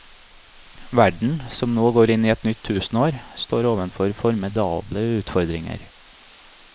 Verden, som nå går inn i et nytt tusenår, står overfor formidable utfordringer.